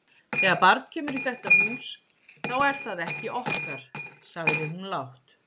Þegar barn kemur í þetta hús, þá er það ekki okkar, sagði hún lágt.